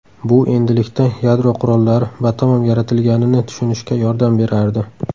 Bu endilikda yadro qurollari batamom yaratilganini tushunishga yordam berardi.